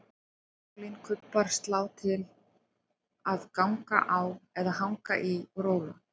Trampólín, kubbar, slá til að ganga á eða hanga í og róla